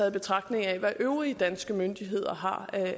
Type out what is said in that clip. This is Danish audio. i betragtning af hvad øvrige danske myndigheder har